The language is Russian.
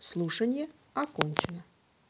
слушанье окончено